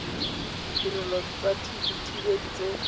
ditirelo tsa dithibedi tse di